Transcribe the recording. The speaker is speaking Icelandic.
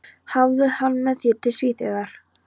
Hafðu hann með þér til Svíþjóðar.